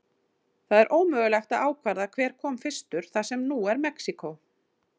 Það er ómögulegt að ákvarða hver kom fyrstur þar sem nú er Mexíkó.